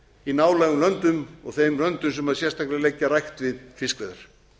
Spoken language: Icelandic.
í nálægum löndum og þeim löndum sem sérstaklega leggja rækt við fiskveiðar